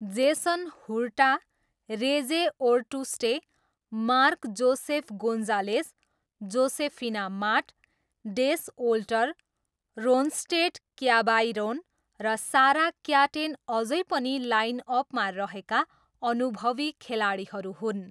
Jason Huerta, Reyes Ortuste, Mark Joseph Gonzales, Josefina Matt, Des Olter, Ronstadt Cabairon र Sara Caten अझै पनि लाइनअपमा रहेका अनुभवी खेलाडीहरू हुन्।